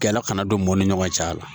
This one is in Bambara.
Gɛlɛya kana don u ni ɲɔgɔn cɛla la